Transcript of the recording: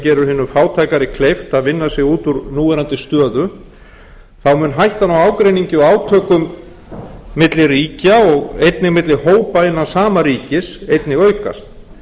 gera hinum fátækari kleift að vinna sig út úr núverandi stöðu mun hættan á ágreiningi og átökum milli ríkja og einnig milli hópa innan sama ríkis einnig aukast